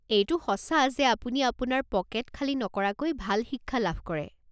এইটো সঁচা যে আপুনি আপোনাৰ পকেট খালী নকৰাকৈ ভাল শিক্ষা লাভ কৰে।